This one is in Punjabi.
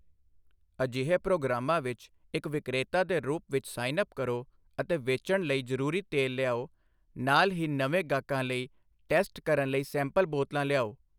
ਅਜਿਹੇ ਪ੍ਰੋਗਰਾਮਾਂ ਵਿੱਚ ਇੱਕ ਵਿਕਰੇਤਾ ਦੇ ਰੂਪ ਵਿੱਚ ਸਾਈਨ ਅਪ ਕਰੋ ਅਤੇ ਵੇਚਣ ਲਈ ਜ਼ਰੂਰੀ ਤੇਲ ਲਿਆਓ, ਨਾਲ ਹੀ ਨਵੇਂ ਗਾਹਕਾਂ ਲਈ ਟੈਸਟ ਕਰਨ ਲਈ ਸੈਂਪਲ ਬੋਤਲਾਂ ਲਿਆਓ।